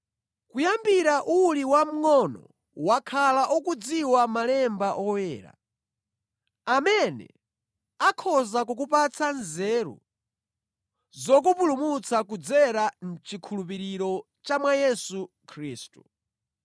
Kuyambira uli wamngʼono wakhala ukudziwa Malemba Oyera, amene akhoza kukupatsa nzeru zokupulumutsa kudzera mʼchikhulupiriro cha mwa Yesu Khristu.